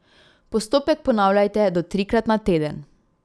Postopek ponavljajte do trikrat na teden.